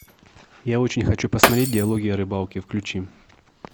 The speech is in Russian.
я очень хочу посмотреть диалоги о рыбалке включи